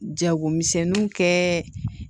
Jagomisɛnninw kɛ